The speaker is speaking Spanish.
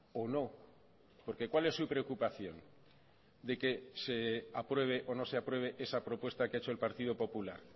o no porque cuál es su preocupación de que se apruebe o no se apruebe esa propuesta que ha hecho el partido popular